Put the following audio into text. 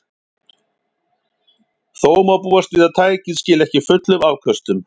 Þó má búast við að tækið skili ekki fullum afköstum.